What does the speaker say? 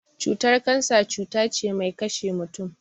Cutar kansa cuta ce ɓai ƙashe mutum.